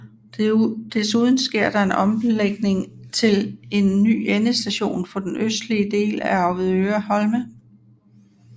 Desuden sker der en omlægning til en ny endestation på den østlige del af Avedøre Holme